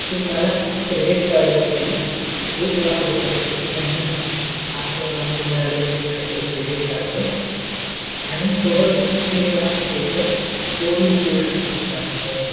तुम्हला credit card वरती एक लाख रुपय प्रति महिना असं आम्ही तुम्हाला limit देऊ शेकतो credit card च आणि सोबतच तीन लाख रुपय च od देऊ शेकतो तुमच्या account वरती